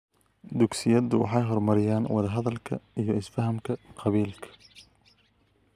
Dugsiyadu waxay horumariyaan wada-hadalka iyo isfahamka qabaa'ilka .